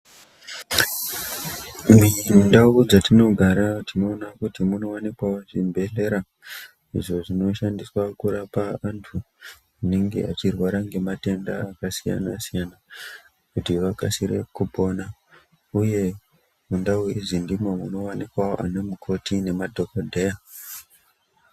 Mindau dza tinogara tinoona kuti muno wanikwawo zvi bhedhleya izvo zvino shandiswa kurapa antu anenge achirwara nge matenda aka siyana siyana kuti vakasire kupona uye mundau idzi ndimo muno wanikwawo ana mukoti nema dhokodheya.